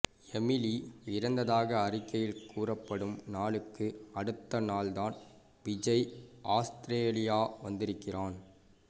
Emily இறந்ததாக அறிக்கையில் குறிப்பிடப்படும் நாளுக்கு அடுத்த நாள்தான் விஜய் ஆஸ்திரேலியா வந்திருக்கிறான்